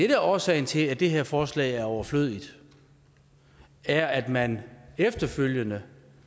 er årsagen til at det her forslag er overflødigt er at man efterfølgende